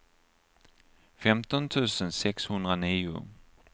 femton tusen sexhundranio